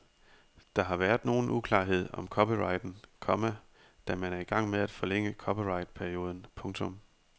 Der har været nogen uklarhed om copyrighten, komma da man er i gang med at forlænge copyrightperioden. punktum